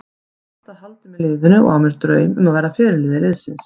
Ég hef alltaf haldið með liðinu og á mér drauma um að verða fyrirliði liðsins.